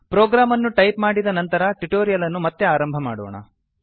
program ಅನ್ನು type ಮಾಡಿದ ನಂತರ ಟ್ಯುಟೋರಿಯಲ್ ಅನ್ನು ಮತ್ತೆ ಆರಂಭ ಮಾಡೋಣ